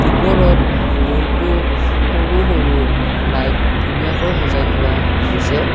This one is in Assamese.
ওপৰত বহুতো সৰু-সৰু লাইট ধুনীয়াকৈ সজাই থোৱা হৈছে।